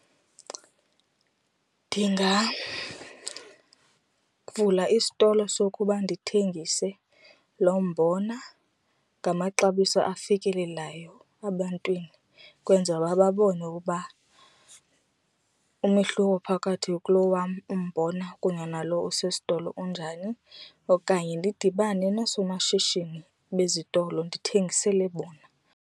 Ndingavula isitolo sokuba ndithengise lo mbona ngamaxabiso afikelelelayo ebantwini kwenzela babone ukuba umehluko phakathi kulo wam umbona kunye nalo usesitolo unjani okanye ndidibane noosomashishini bezitolo ndithengisele bona.